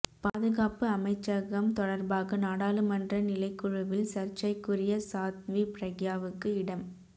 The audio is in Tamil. பாதுகாப்பு அமைச்சகம் தொடர்பாக நாடாளுமன்ற நிலைக்குழுவில் சர்ச்சைக்குரிய சாத்வி பிரக்யாவுக்கு இடம்